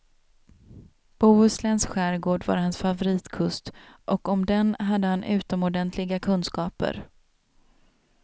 Bohusläns skärgård var hans favoritkust och om den hade han utomordentliga kunskaper.